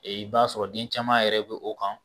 i b'a sɔrɔ den caman yɛrɛ bɛ o kan